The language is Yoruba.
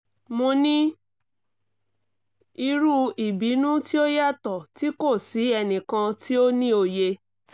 mo ni iru ibinu ti o yatọ ti ko si ẹnikan ti o ni oye